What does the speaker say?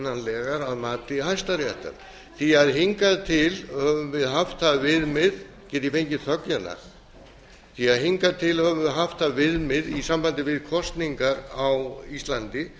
óaðfinnanlegar að mati hæstaréttar hingað til höfum við haft það viðmið get ég fengið þögn hérna því hingað til höfum við haft það viðmið í sambandi við kosningar á íslandi